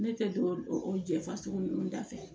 Ne tɛ don o jɛfasugu ninnu dafɛ